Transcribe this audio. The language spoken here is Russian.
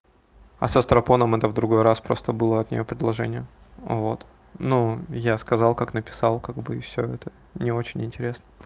а со страпоном это в другой раз просто было от неё предложение вот ну я сказал как написал как бы и всё это не очень интересно